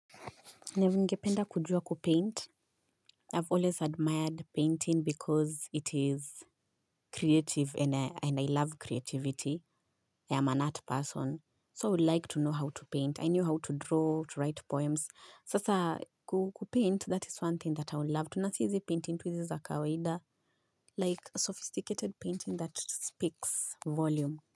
Ningependa kujua kupaint. I've always admired painting because it is creative and I love creativity. I am an art person. So I would like to know how to paint. I knew how to draw, to write poems. Sasa kupaint, that is one thing that I loved. Na si hizi painting tu hizi za kawaida. Like sophisticated painting that speaks volume.